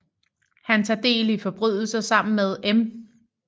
Han tager del i forbrydelser sammen med M